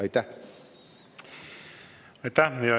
Aitäh!